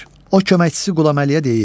O köməkçisi qulam Əliyə deyir: